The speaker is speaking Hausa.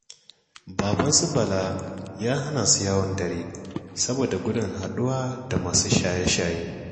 Baban su Bala ya hana su yawon dare saboda gudun haɗuwa da masu shaye-shaye